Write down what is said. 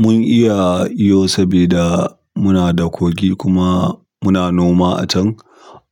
Mun iya iyo sabida muna da kogi kuma muna noma a can,